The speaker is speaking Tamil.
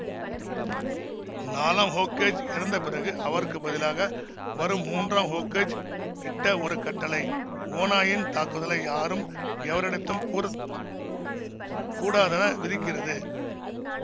நாலாம் ஹோக்கேஜ் இறந்த பிறகு அவருக்கு பதிலாக வரும் மூன்றாம் ஹோக்கேஜ் இட்ட ஒரு கட்டளை ஓநாயின் தாக்குதலை யாரும் எவரிடத்தும் கூற கூடாதென விதிக்கிறது